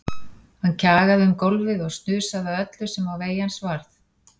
Hann kjagaði um gólfið og snusaði að öllu sem á vegi hans varð.